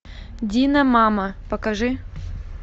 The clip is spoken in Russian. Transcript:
дина мама покажи